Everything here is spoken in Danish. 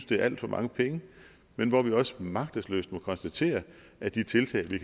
det er alt for mange penge men hvor vi også magtesløst må konstatere at de tiltag vi